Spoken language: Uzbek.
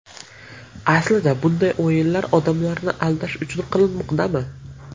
Aslida bunday o‘yinlar odamlarni aldash uchun qilinmoqdami?